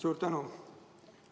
Suur tänu!